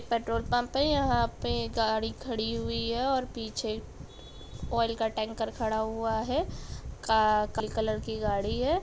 Petrol pump है यहाँ पे गाड़ी खड़ी हुई है और पीछे ऑइल का टैंकर खड़ा हुआ है का कलर की गाड़ी है।